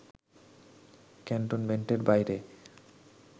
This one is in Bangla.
ক্যান্টমেন্টের বাইরে